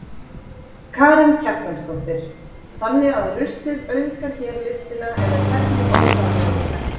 Karen Kjartansdóttir: Þannig að ruslið auðgar hér listina eða hvernig orðarðu þetta?